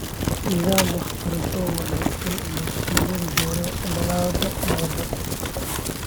Nidaam waxbarasho oo wanaagsan ayaa sii wadi doona dadaallada nabadda .